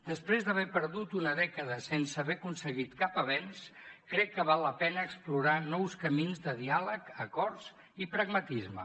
després d’haver perdut una dècada sense haver aconseguit cap avenç crec que val la pena explorar nous camins de diàleg acords i pragmatisme